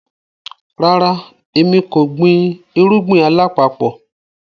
Ràrà, ẹ̀mi kò gbìn irugbin alapapọ̀.